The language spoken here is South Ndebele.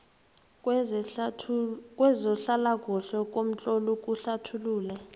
kwezehlalakuhle ngomtlolo uhlathulule